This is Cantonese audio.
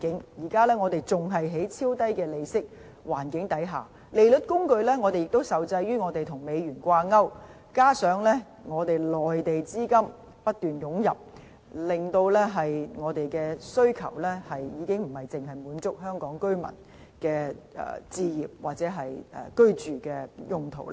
現時經濟仍處於超低利息環境，利率工具也受制於港元與美元掛鈎，加上內地資金不斷湧入，令房屋需求已不僅限於香港居民的置業或居住用途。